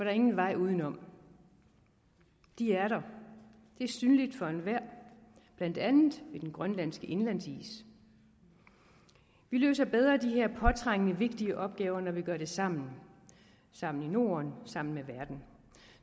er ingen vej udenom de er der det er synligt for enhver blandt andet ved den grønlandske indlandsis vi løser bedre de her påtrængende vigtige opgaver når vi gør det sammen sammen i norden sammen med verden